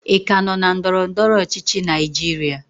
ị ka nọ na ndọrọ ndọrọ ọchịchị Naijiria?